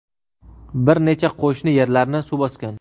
bir necha qo‘shni yerlarni suv bosgan.